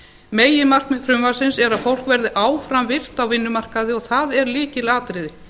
meginmarkmið frumvarpsins er að fólk verði áfram virkt á vinnumarkaði og það er lykilatriði